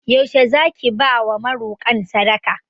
Yaushe Zaki bawa marokan sadaka?